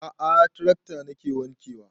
A'a trakta nake wanke wa